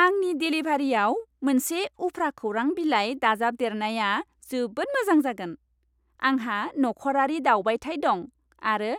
आंनि देलिभारियाव मोनसे उफ्रा खौरां बिलाइ दाजाबदेरनाया जोबोद मोजां जागोन। आंहा नखरारि दावबायथाय दं, आरो